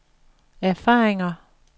erfaringer